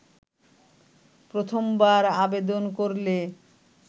প্রথমবার আবেদন করলে